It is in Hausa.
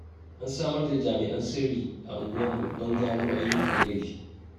An samar da jami'an sirri a unguwarmu don gano ayyukan laifi.